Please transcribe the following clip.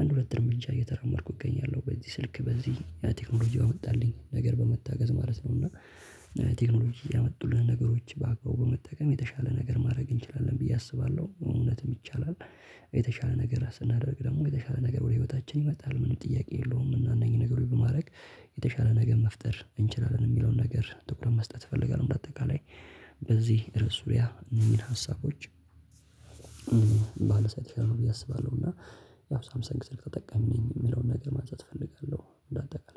አንድ ሁለት እርምጃ እየተራመድኩ እገኛለሁ በዚህ ስልክ በዚህ ቴክኖሎጂ ባመጣልኝ ነገር በመታገዝ ማለት ነው እና ቴክኖሎጂ ያመጡልንን ነገሮች በአግባቡ በመጠቀም የተሻለ ነገር ማድረግ እንችላለን ብዬ አስባለሁ እውነትም ይቻላል። የተሻለ ነገር ስናደርግ ደግሞ የተሻለ ነገር ወደ ህይወታችን ይመጣል ምንም ጥያቄ የለውም እና እነኚህ ነገሮች በማድረግ የተሻለ ነገር መፍጠር እንችላለን የሚለውን ነገር ትኩረት መስጠት እፈልጋለሁ። በአጠቃላይ በዚህ ርዕሱ ዙሪያ እነዚህን ሀሳቦች ባነሳ የተሻለ ነው ብዬ አስባለሁ እና ያው ሳምሰንግ ስልክ ተጠቃሚ ነኝ የሚለውን ነገር ማንሳት እፈልጋለሁ። እንደ አጠቃላይ